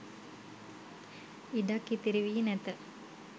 ඉඩක් ඉතිරි වී නැත